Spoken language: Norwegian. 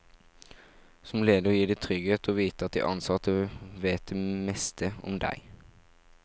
Som leder gir det trygghet å vite at de ansatte vet det meste om deg.